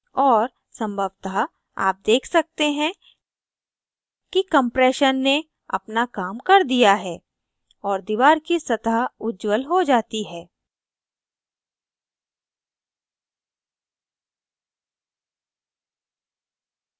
और संभवतः आप देख सकते हैं कि compression ने अपना काम कर दिया है और दीवार की सतह उज्जवल हो जाती है